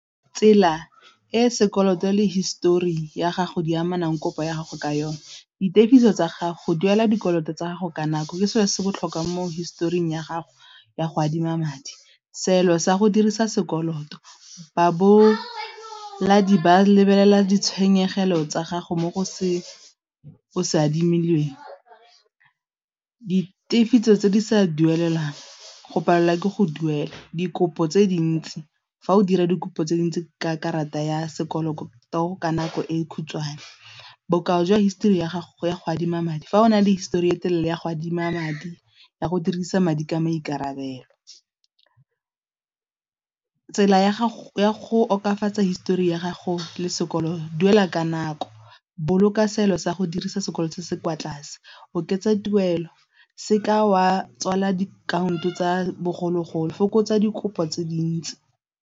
Tsela e sekoloto le histori ya gago di amanang kopo ya gago ka yone, dithekiso tsa gago duela dikoloto tsa gago ka nako ke selo se se botlhokwa mo historing ya gago ya go adima madi. Seelo sa go dirisa sekoloto ba ba lebelela ditshenyegelo tsa gago mo go se of Se adimilweng. Di tefiso tse di sa duelang go palelwa ke go duela dikopo tse dintsi fa o dira dikopo tse dintsi ka karata ya sekoloto ka nako e e khutshwane, bokao jwa histori ya gago ya go adima madi fa o na le histori e telele ya go adima madi ya go dirisa madi ka maikarabelo, tsela ya go histori ya gago le sekolo duela ka nako, boloka seelo sa go dirisa sekoloto se se kwa tlase, oketsa tuelo se ka wa tswala diakhaonto tsa bogologolo, fokotsa dikopo tse dintsi.